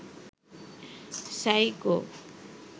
psycho